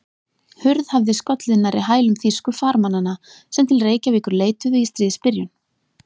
Hurð hafði skollið nærri hælum þýsku farmannanna, sem til Reykjavíkur leituðu í stríðsbyrjun.